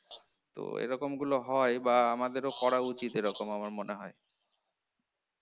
তো এরকম গুলো হয় বা আমাদেরও করা উচিত আমার মনে হয়